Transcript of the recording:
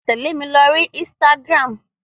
Tẹ̀lé mi lórí Instagram!